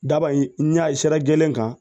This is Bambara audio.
Daba in n'a sira gelen kan